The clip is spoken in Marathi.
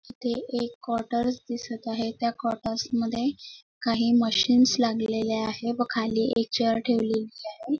तिथे एक कवॉटर्स दिसत आहे त्या कवॉटर्स मध्ये काही मशीन्स लागलेल्या आहेत व खाली एक चेअर ठेवलेली आहे.